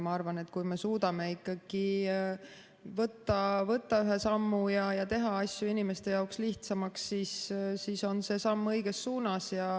Ma arvan, et kui me suudame ikkagi võtta ette ühe sammu ja teha asju inimeste jaoks lihtsamaks, siis on see samm õiges suunas.